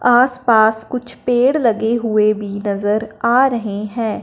आस पास कुछ पेड़ लगे हुए भी नजर आ रहे हैं।